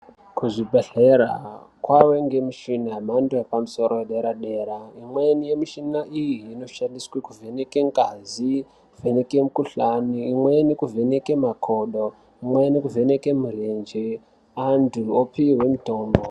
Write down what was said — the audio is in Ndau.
Kuzvibhedhlera kwave ngemichina yemhando yepamsoro yederedera imweni yemichina iyi inoshandiswe kuvheneke ngazi ,kuvheneke mikuhlane imweni kuvheneke makodo , imweni kuvheneke murenje antu opihwe mutombo .